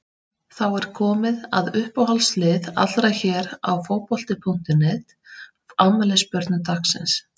Þá er komið að uppáhalds lið allra hér á Fótbolti.net, afmælisbörnum dagsins.